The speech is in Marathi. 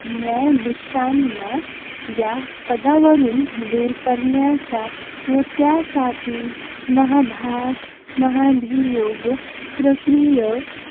न्यायाधीशांना या पदावरून दूर करण्याचा व त्यासाठी महा महाभियोग प्रक्रिया